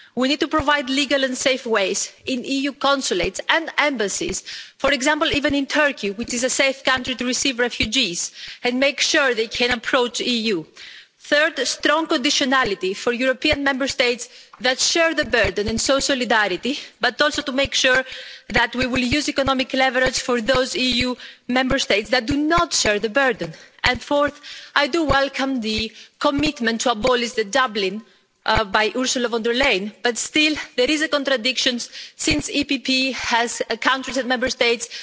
We need to provide legal and safe ways in EU consulates and embassies for example, even in Turkey, which is a safe country to receive refugees and make sure they can approach the EU. Third, strong conditionality for European Member States that share the burden in solidarity but also to make sure that we will use economic leverage for those EU Member States that do not share the burden. And fourth, I do welcome the commitment to abolish the Dublin Regulation, by Ursula von der Leyen, but still there is a contradiction since the EPP encompasses parties from Member States